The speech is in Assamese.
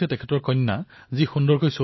তেওঁ চিএলএটি পৰীক্ষাত ভাল স্থান লাভ কৰিছে